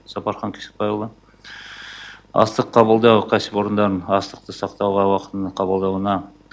сапархан кесікбайұлы астық қабылдау кәсіпорындарын астықты сақтауға уақытылы қабылдауына